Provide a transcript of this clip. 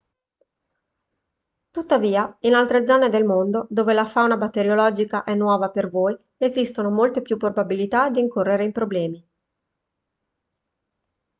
tuttavia in altre zone del mondo dove la fauna batteriologica è nuova per voi esistono molte più probabilità di incorrere in problemi